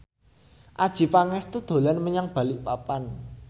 Adjie Pangestu dolan menyang Balikpapan